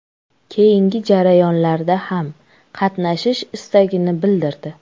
Keyingi jarayonlarda ham qatnashish istagini bildirdi.